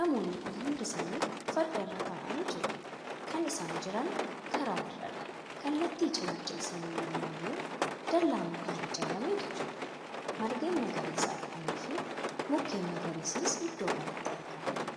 namoonni Kun hundi isaanitii fardarra taa'anii jiru. kan isaan Jiran karaa irraadha. kallatti cinaacha isaanii lamaaniinuu dallaa mukaan ijaarametu jira. margeen magariisa ta'aniif mukkeen magariisnis iddoo kanatti argamu.